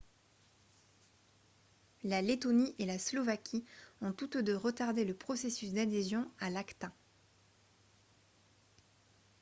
la lettonie et la slovaquie ont toutes deux retardé le processus d'adhésion à l'acta